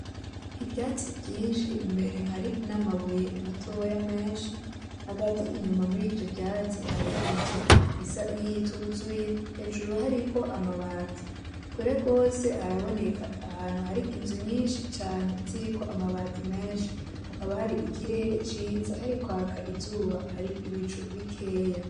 Ivyatsi vyinshi imbere hari n'amabuye matoya menshi hagati inyuma mur' ivyo vyatsi har' inzu isa niyituzuye hejuru hariko amabati kure gose haraboneka ahantu har' inzu nyinshi cane ziriko amabati menshi hakaba har'ikirere ciza harikwak'izuba har'ibicu bikeya.